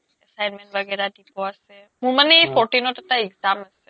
assignment baghera দিব আছে মোৰ মানে fourteen ত এটা exam আছে